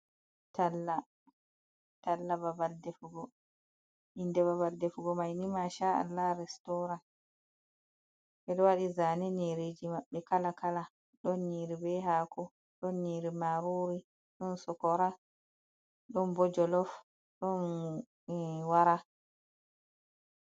Tala, tala babal defugo, inde babal defugo man ni ma sha Allah restoran, ɓeɗo waɗi zane babal maɓbe mai ni kala kala, ɗon nyiri be hako, ɗon yniri marori, ɗon sokora, ɗon bo jolof, ɗon wara.